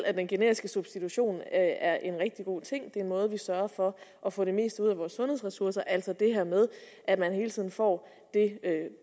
at den generiske substitution er en rigtig god ting en måde vi sørger for at få det meste ud af vores sundhedsressourcer på altså det her med at man hele tiden får det